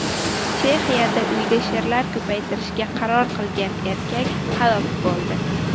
Chexiyada uyda sherlar ko‘paytirishga qaror qilgan erkak halok bo‘ldi.